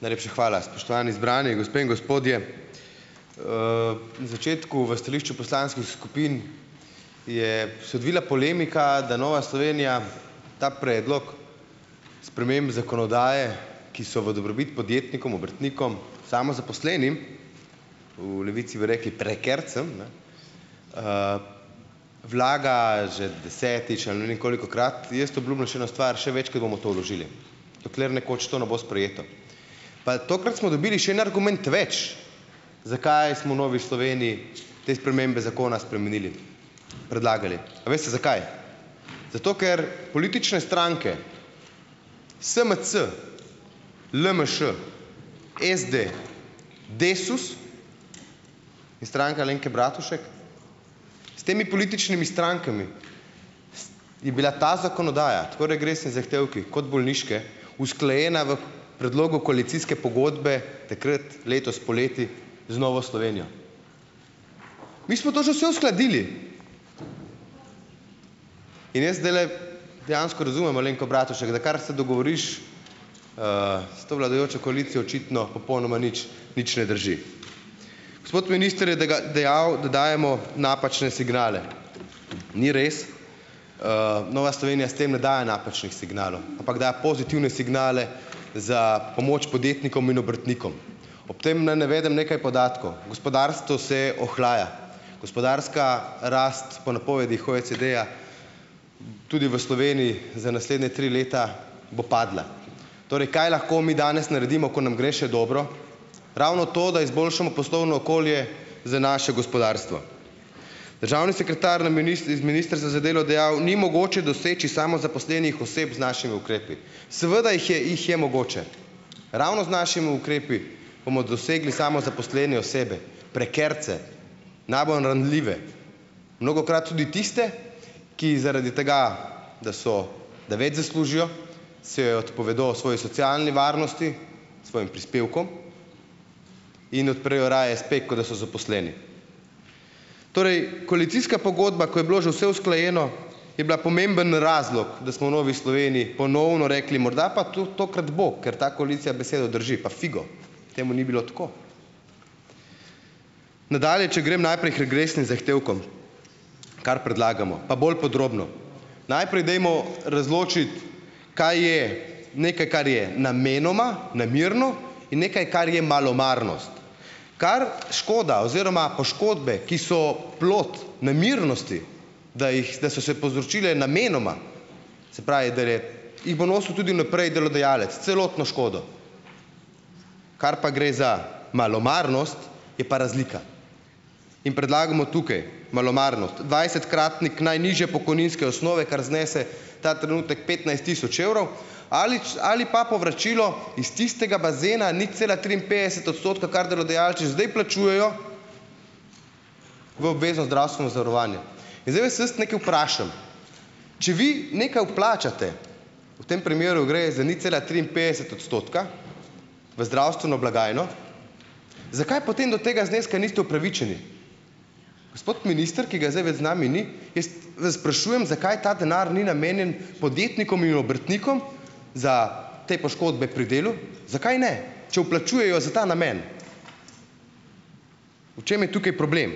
Najlepša hvala. Spoštovani zbrani, gospe in gospodje! Na začetku v stališču poslanskih skupin je se odvila polemika, da Nova Slovenija ta predlog sprememb zakonodaje, ki so v dobrobit podjetnikom, obrtnikom, samozaposlenim, v Levici bi rekli prekarcem, ne, vlaga že desetič ali ne vem kolikokrat. Jaz obljubim še eno stvar, še večkrat bomo to vložili, dokler nekoč to ne bo sprejeto. Pa tokrat smo dobili še en argument več, zakaj smo Novi Sloveniji te spremembe zakona spremenili. Predlagali, a veste zakaj? Zato ker politične stranke, SMC, LMŠ, SD, Desus in Stranka Alenke Bratušek, s temi političnimi strankami je bila ta zakonodaja, tako regresni zahtevki kot bolniške, usklajena v predlogu koalicijske pogodbe takrat, letos poleti z Novo Slovenijo. Mi smo to že vse uskladili. In je zdajle dejansko razumem Alenko Bratušek, da kar se dogovoriš s to vladajočo koalicijo, očitno popolnoma nič, nič ne drži. Gospod minister je dejal, da dajemo napačne signale. Ni res. Nova Slovenija s tem ne daje napačnih signalov, ampak da pozitivne signale za pomoč podjetnikom in obrtnikom. Ob tem naj navedem nekaj podatkov. Gospodarstvo se ohlaja, gospodarska rast po napovedih OECD-ja tudi v Sloveniji za naslednje tri leta bo padla. Torej kaj lahko mi danes naredimo, ko nam gre še dobro. Ravno to, da izboljšamo poslovno okolje za naše gospodarstvo. Državni sekretar na iz ministrstva za delo dejal, ni mogoče doseči samozaposlenih oseb z našimi ukrepi. Seveda jih je, jih je mogoče, ravno z našim ukrepi bomo dosegli samozaposlene osebe, prekarce, Mnogokrat tudi tiste, ki zaradi tega, da so, da več zaslužijo, se odpovedo svoji socialni varnosti, svojim prispevkom in odprejo raje espe, kot da so zaposleni. Torej, koalicijska pogodba, ko je bilo že vse usklajeno, je bila pomemben razlog, da smo v Novi Sloveniji ponovno rekli, morda pa tokrat bo, ker ta koalicija besedo drži, pa figo, temu ni bilo tako. Nadalje, če grem najprej k regresnim zahtevkom, kar predlagamo, pa bolj podrobno. Najprej dajmo razločiti, kaj je nekaj, kar je namenoma, namerno, in nekaj, kar je malomarnost. Kar škoda oziroma poškodbe, ki so plod nemirnosti, da jih, da so se povzročile namenoma, se pravi jih bo nosil tudi naprej delodajalec, celotno škodo. Kar pa gre za malomarnost, je pa razlika. In predlagamo tukaj malomarnost, dvajsetkratnik najnižje pokojninske osnove, kar znese ta trenutek petnajst tisoč evrov ali ali pa povračilo iz tistega bazena nič cela triinpetdeset odstotka, kar delodajalci že zdaj plačujejo v obvezno zdravstveno zavarovanje. In zdaj vas jaz nekaj vprašam. Če vi nekaj vplačate, v tem primeru gre za nič cela triinpetdeset odstotka, v zdravstveno blagajno, zakaj potem do tega zneska niste upravičeni. Gospod minister, ki ga zdaj več z nami ni, jaz vas sprašujem, zakaj ta denar ni namenjen podjetnikom in obrtnikom za te poškodbe pri delu. Zakaj ne, če vplačujejo za ta namen? V čem je tukaj problem?